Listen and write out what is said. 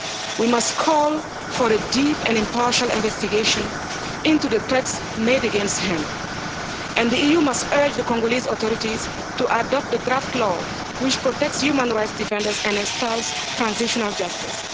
We must call for a deep and impartial investigation into the threats made against him, and the EU must urge the Congolese authorities to adopt the draft law which protects human rights defenders and installs transitional justice.